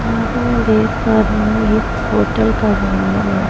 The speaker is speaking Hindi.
यहाँ पे मैं देख पा रही हूँ ये एक होटल का रूम लग रहा है।